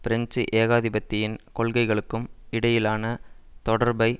French ஏகாதிபத்தியத்தின் கொள்கைகளுக்கும் இடையிலான தொடர்பை